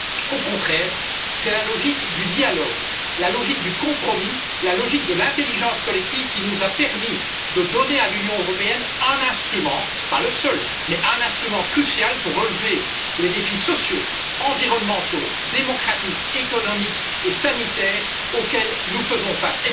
Au contraire, c'est la logique du dialogue, la logique du compromis, la logique de l'intelligence collective qui nous a permis de donner à l'Union européenne un instrument, pas le seul, mais un instrument crucial pour relever les défis sociaux, environnementaux, démocratiques, économiques et sanitaires auxquels nous faisons face.